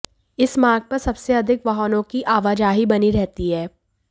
इस मार्ग पर सबसे अधिक वाहनों की आवाजाही बनी रहती है